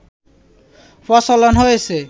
প্রচলন হয়েছে